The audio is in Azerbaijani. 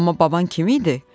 Amma baban kim idi?